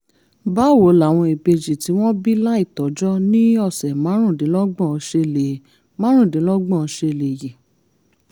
báwo làwọn ìbejì tí wọ́n bí láìtọ́jọ́ ní ọ̀sẹ̀ márùndínlọ́gbọ̀n ṣe lè márùndínlọ́gbọ̀n ṣe lè yè?